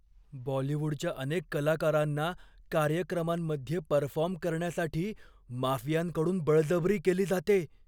बॉलीवूडच्या अनेक कलाकारांना कार्यक्रमांमध्ये परफॉर्म करण्यासाठी माफियांकडून बळजबरी केली जाते.